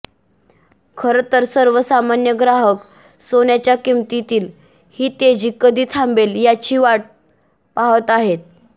खर तर सर्व सामान्य ग्राहक सोन्याच्या किमतीतील ही तेजी कधी थांबेल याची वाढ पाहत आहेत